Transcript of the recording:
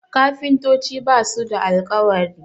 kafintoci ba su da alkawari